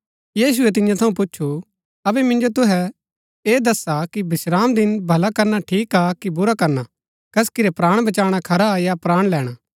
यीशुऐ तियां थऊँ पुछु अबै मिन्जो तुसै ऐह दसा कि विश्रामदिन भला करना ठीक हा कि बुरा करना कसकि रै प्राण बचाणा खरा या प्राण लैणा